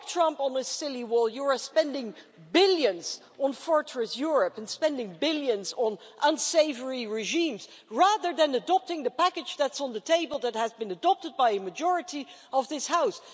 Like Trump and his silly wall, you are spending billions on Fortress Europe and on unsavoury regimes, rather than adopting the package that's on the table that has been adopted by a majority of this House.